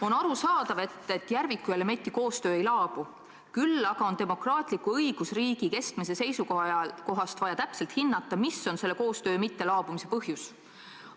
On arusaadav, et Järviku ja Lemetti koostöö ei laabu, küll aga on demokraatliku õigusriigi kestmise seisukohast vaja täpselt hinnata, mis on selle koostöö mittelaabumise põhjus.